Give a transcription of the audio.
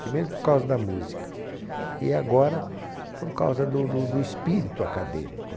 Primeiro por causa da música e agora por causa do do do espírito acadêmico.